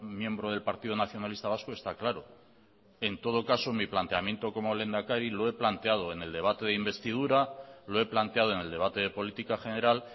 miembro del partido nacionalista vasco está claro en todo caso mi planteamiento como lehendakari lo he planteado en el debate de investidura lo he planteado en el debate de política general